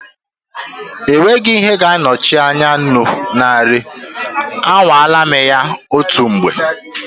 There will never be an alternative recipe for salt, I have tried cooking without it before.